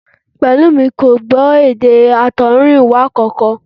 Pẹ̀lúmi kò gbọ́ èdè àtọ̀húnrìnwá kankan